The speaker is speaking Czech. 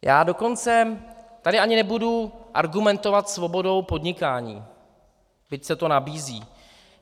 Já dokonce tady ani nebudu argumentovat svobodou podnikání, byť se to nabízí.